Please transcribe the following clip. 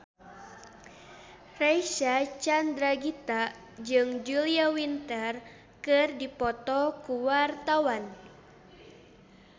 Reysa Chandragitta jeung Julia Winter keur dipoto ku wartawan